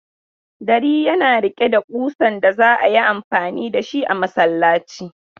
Dari yana riƙe da kusan da za a yi mfani da shi a masallaci.